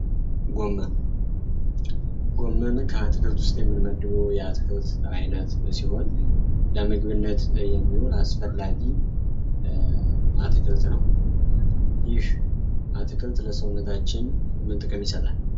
ጎመን፦ ጎመን ከአትክልት ውስጥ የምንመድበው የአትክልት አይነት ሲሆን ለምግብነት የሚውል አስፈላጊ አትክልት ነው። ይህ አትክልት ለሰውነታችን ምን ጥቅም ይሰጣል?